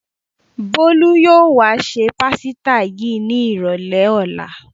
Bólú yóò wá se pásítà yìí ní ìrọ́lẹ́ ọ̀la.